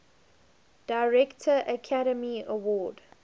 director academy award